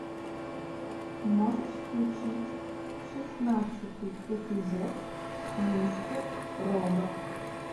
можешь включить шестнадцатый эпизод мистер робот